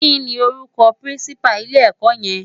Ki ni órúkò pirinsipá ilè èkò yen?